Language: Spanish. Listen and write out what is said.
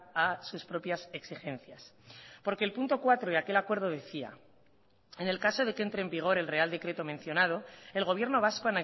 a sus propias exigencias porque el punto cuatro de aquel acuerdo decía en el caso de que entre en vigor el real decreto mencionado el gobierno vasco